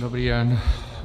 Dobrý den.